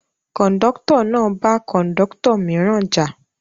Kọ̀ńdọ́tọ̀ náà bá Kọ̀ńdọ́tọ̀ mìíràn jà.